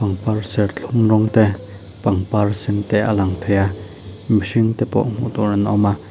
pangpar serthlum rawng te pangpar sen te a lang thei a mihring te pawh hmuh tur an awm a.